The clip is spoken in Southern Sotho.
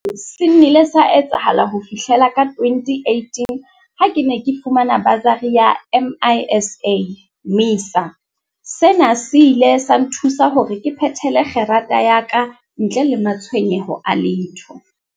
Seo se nnile sa etsahala ho fihlela ka 2018 ha ke ne ke fumana basari ya MISA. Sena se ile sa nthusa hore ke phethele kgerata ya kantle le ma-tshwenyeho a letho.